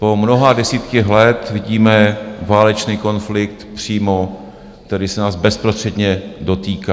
Po mnoha desítkách let vidíme válečný konflikt přímo, který se nás bezprostředně dotýká.